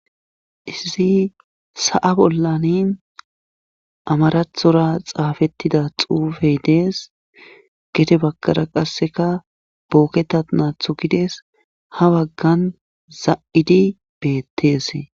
izi sa7a bollani amarathora xaafettida xuufey dees gete bagkara qasseka booketa naathu gides ha baggan za7idi beetteese